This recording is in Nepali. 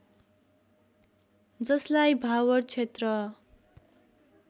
जसलाई भावर क्षेत्र